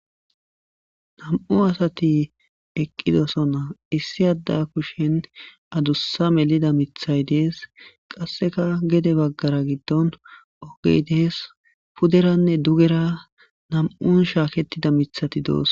Nam7u asati eqqidosonna issi adda kushen adussa melida mithay dees qasseka gede baggara giddon ogey dees puderanne dugera nam7un shaakettida mithati doos.